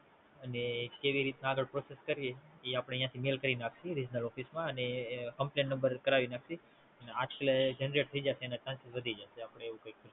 અને કેવી રીતે આગળ પ્રોસેસ કરીએ એ અહીંથી મેલ કરી નાખીએ ઓફિસ માં કમ્પલેન નંબર કરાવી નાખીએ ઝંઝટ થઈ જાય અને શાંતિ વધી જાય આપડે એવું કાઈ